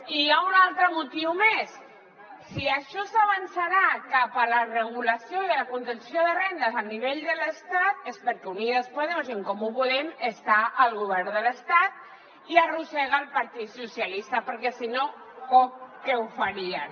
i hi ha un altre motiu més si això s’avançarà cap a la regulació i a la contenció de rendes a nivell de l’estat és perquè unidas podemos i en comú podem estan al govern de l’estat i arrossega el partit socialista perquè si no poc que ho farien